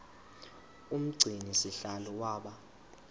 umgcini sihlalo waba